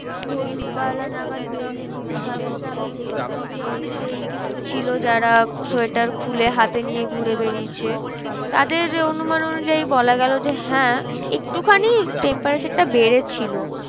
ভোর বেলা নাগাদ বেরিয়ে ছিল তাদেরকে আমি দেখেছি যে অনেকেই ছিল যারা সোয়েটার খুলে হাতে নিয়ে ঘুরে বেরিয়েছে। তাদের অনুমান অনুযায়ী বলা গেলো যে হ্যাঁ একটুখানি temperature টা বেড়েছিল।